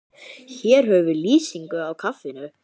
Hér höfum við lýsingu á kaffinu.